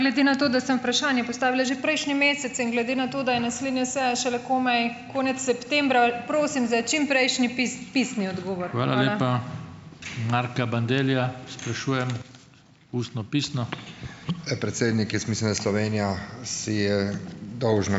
Glede na to, da sem vprašanje postavila že prejšnji mesec, in glede na to, da je naslednja seja šele komaj konec septembra, prosim za čimprejšnji pisni odgovor.